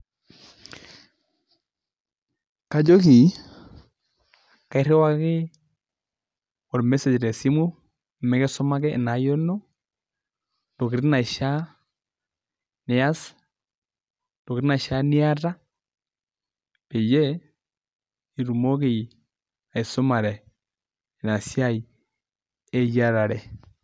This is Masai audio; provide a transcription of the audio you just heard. Kajoki kairiwaki olmeseg tesimu mikisumaki ina ayioni ino, intokitin naishaa niyas, intokitin naishaa niyata peyie itumoki aisumare inasiai eyiarare.